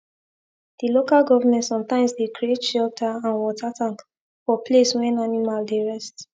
the local government sometimes dey create shelter and water tank for place wen animal dey rest